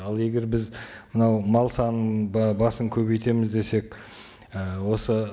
ал егер біз мынау мал санын басын көбейтеміз десек ы осы